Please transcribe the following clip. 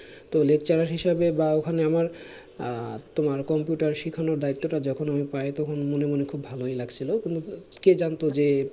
তো lecturer হিসাবে বা ওখানে আমার আহ তোমার computer শিখানোর দায়িত্তটা যখন আমি পাই তখন মনে মনে খুব ভালোই লাগছিলো কিন্তু কে জানতো যে